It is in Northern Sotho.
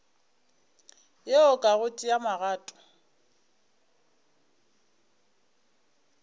yeo ka go tšea magato